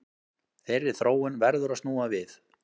Þeirri þróun verður að snúa við